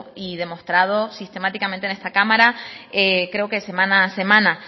y demostrado sistemáticamente en esta cámara creo que semana a semana